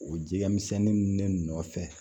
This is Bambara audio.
O jɛgɛmisɛnnin ninnu ne nɔfɛ